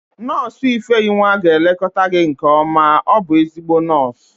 Nọọsụ ifeyinwa ga-elekọta gị nke ọma, ọ bụ ezigbo nọọsụ